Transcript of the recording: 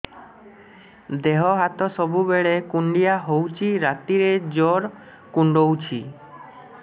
ଦେହ ହାତ ସବୁବେଳେ କୁଣ୍ଡିଆ ହଉଚି ରାତିରେ ଜୁର୍ କୁଣ୍ଡଉଚି